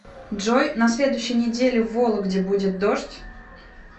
джой на следующей неделе в вологде будет дождь